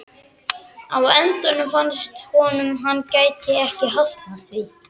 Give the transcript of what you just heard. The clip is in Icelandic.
Á endanum fannst honum hann ekki geta hafnað því.